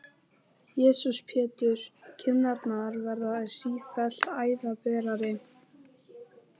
Jesús Pétur, kinnarnar verða sífellt æðaberari!